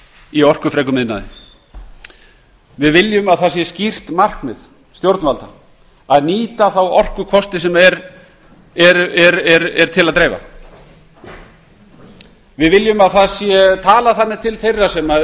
í orkufrekum iðnaði við viljum að það sé skýrt markmið stjórnvalda að nýta þá orkukosti sem til er að dreifa við viljum að talað sé þannig til þeirra sem